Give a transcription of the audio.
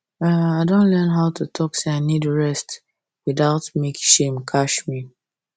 um i don learn how to talk say i need rest without make shame catch me